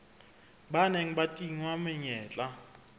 ba neng ba tingwa menyetla